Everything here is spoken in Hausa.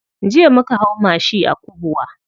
Jiya muka hau mashi a Kubwa.